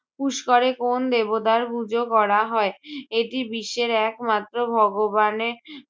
পুস্করে কোন্ দেবতার পূজো করা হয়? এটি বিশ্বের এক মাত্র ভগবানে